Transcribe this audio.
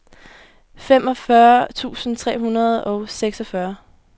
femogfyrre tusind tre hundrede og seksogfyrre